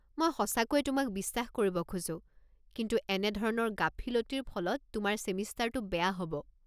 মই সঁচাকৈয়ে তোমাক বিশ্বাস কৰিব খোজো, কিন্তু এনেধৰণৰ গাফিলতিৰ ফলত তোমাৰ ছেমিষ্টাৰটো বেয়া হ'ব।